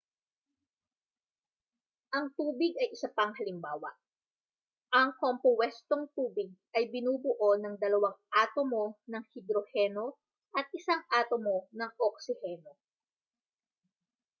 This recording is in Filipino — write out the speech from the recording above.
ang tubig ay isa pang halimbawa ang kompuwestong tubig ay binubuo ng dalawang atomo ng hidroheno at isang atomo ng oksiheno